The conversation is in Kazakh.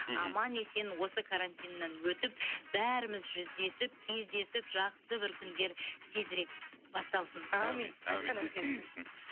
аман есен осы карантиннан өтіп бәріміз жүздесіп кездесіп жақсы бір күндер тезірек басталсын әумин айтқаныңыз келсін